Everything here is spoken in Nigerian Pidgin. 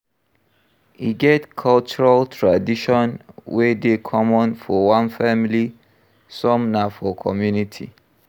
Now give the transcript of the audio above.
E get cultural tradition wey dey common for one family some na for community